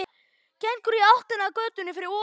Gengur í áttina að götunni fyrir ofan.